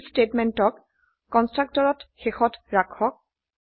এই থিচ স্টেটমেন্টক কন্সট্ৰকটত শেষত ৰাখক